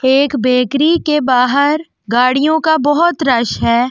एक बेकरी के बाहर गाड़ियों का बहोत रश है।